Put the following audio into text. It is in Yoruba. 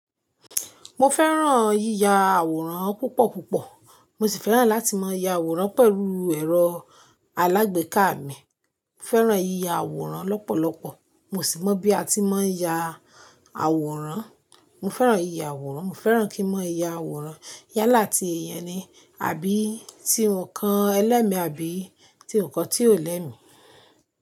Mo fẹ́ràn yíya àwòrán púpọ̀ púpọ̀. Mo sì fẹ́ràn láti máa ya àwòrán pẹ̀lú ẹ̀rọ alágbèéká mi. Mo fẹ́ràn yíya àwòrán lọ́pọ̀lọpọ̀. Mo sì mọ̀ bí a ti máa ń ya àwòrán. Mo fẹ́ràn yíya àwòrán. Mo fẹ́ràn kí n máa ya àwòrán. Yálá ti eyan ni, àbí ti nǹkan ẹlẹ́mi àbí ti o kọ tí ò lẹ́mi.